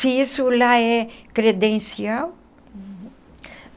Se isso lá é credencial.